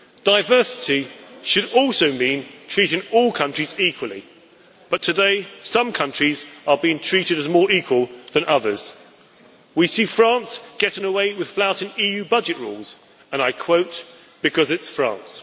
Diversity should also mean treating all countries equally, but today some countries are being treated as a more equal than others. We see France getting away with flouting EU budget rules, and I quote, because it's France'.